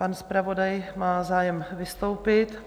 Pan zpravodaj má zájem vystoupit.